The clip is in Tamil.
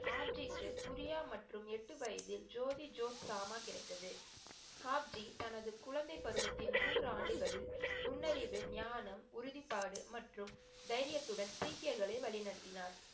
ஆப்ஜிக்கு குரியா மற்றும் எட்டு வயதில் ஜோதி ஜோதிக்சாமா கிடைத்தது. ஆப்ஜி தனது குழந்தை பருவத்தின் மூன்று ஆண்டுகள் நுண்ணறிவு, நியானம், உறுதிபாடு மற்றும் தைரியத்துடன் சீக்கியர்களை வழிநடத்தினார்.